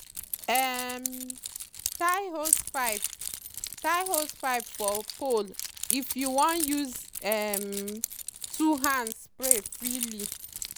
um tie hosepipe tie hosepipe for pole if you wan use um two hands spray freely.